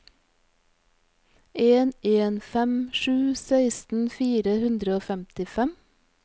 en en fem sju seksten fire hundre og femtifem